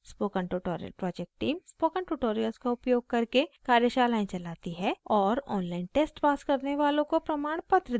spoken tutorial project team: